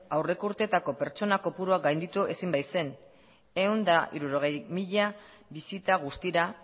aurreko urteetako pertsona kopurua gainditu ezin baitzen ehun eta hirurogei mila bisita guztira